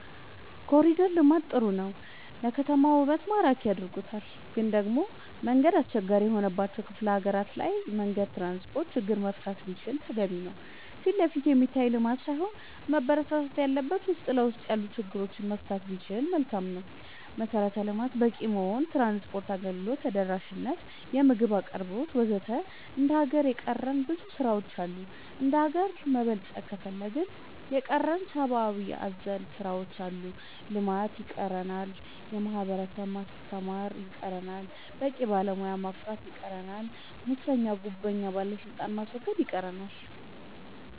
ኮሊደር ልማት ጥሩ ነው ለከተማችን ውበት ማራኪ አርጎታል ግን ደሞ መንገድ አስቸጋሪ የሆነባቸው ክፍለ ሀገራት ላይ መንገድ ትራንስፖርት ችግር መፈታት ቢችል ተገቢ ነው ፊትለፊት የሚታይ ልማት ሳይሆን መበረታታት ያለበት ውስጥ ለውስጥ ያሉ ችግሮች መፍታት ቢቻል መልካም ነው መሰረተ ልማት በቂ መሆን ትራንስፓርት አገልግሎት ተደራሽ ነት የምግብ አቅርቦት ወዘተ ገና እንደ ሀገር የቀረን ብዙ ስራ ዎች አሉ እንደሀገር መበልፀግ ከፈለግን የቀረን ሰባአዊ አዘል ስራዎች አሉ ልማት ይቀረናል የህብረተሰብ ማስተማር ይቀረናል በቂ ባለሙያ ማፍራት ይቀረናል ሙሰኛ ጉቦኛ ባለስልጣናት ማስወገድ ይቀረናል ወዘተ